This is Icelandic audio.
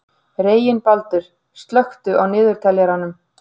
Reginbaldur, slökktu á niðurteljaranum.